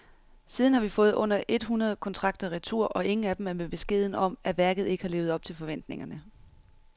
Siden har vi fået under et hundrede kontrakter retur, og ingen af dem er med beskeden om, at værket ikke har levet op til forventningerne.